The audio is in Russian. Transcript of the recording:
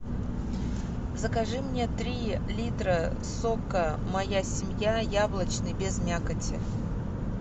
закажи мне три литра сока моя семья яблочный без мякоти